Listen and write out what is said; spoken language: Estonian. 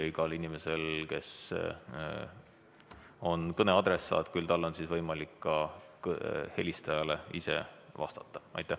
Igal inimesel, kes on kõne adressaat, on endal võimalik helistajale vastata.